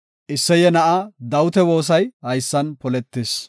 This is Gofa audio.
Isseye na7aa Dawita woosay haysan poletis.